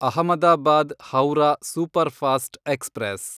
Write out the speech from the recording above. Ahmedabad Howrah superfast express